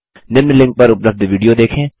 निम्न लिंक पर उपलब्ध विडियो देखें